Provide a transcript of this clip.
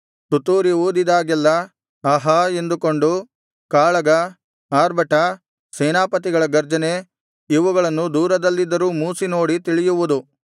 ತುತ್ತೂರಿ ಊದಿದಾಗೆಲ್ಲಾ ಆಹಾ ಎಂದುಕೊಂಡು ಕಾಳಗ ಆರ್ಭಟ ಸೇನಾಪತಿಗಳ ಗರ್ಜನೆ ಇವುಗಳನ್ನು ದೂರದಲ್ಲಿದ್ದರೂ ಮೂಸಿನೋಡಿ ತಿಳಿಯುವುದು